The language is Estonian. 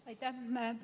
Aitäh!